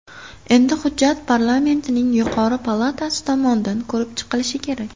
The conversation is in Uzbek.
Endi hujjat parlamentning yuqori palatasi tomonidan ko‘rib chiqilishi kerak.